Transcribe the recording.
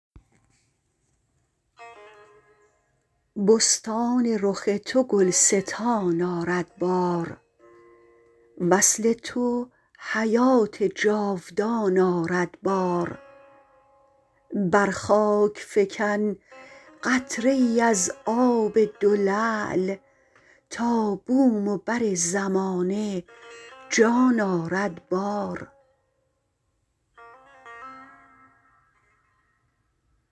بستان رخ تو گلستان آرد بار وصل تو حیات جاودان آرد بار بر خاک فکن قطره ای از آب دو لعل تا بوم و بر زمانه جان آرد بار